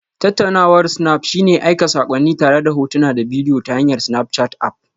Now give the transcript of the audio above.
Tattaunawar snap shine aika saƙonni tare da hotuna da bidiyo ta hanyar Snapchat App